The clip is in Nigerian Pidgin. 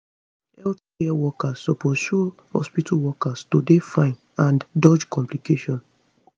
healthcare workers suppose show hospital workers to dey fine and dodge complications